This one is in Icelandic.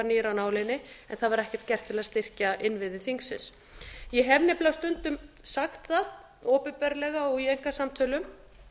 nýr af nálinni en það var ekkert gert til að styrkja innviði þingsins ég nefnilega stundum sagt það opinberlega og í einkasamtölum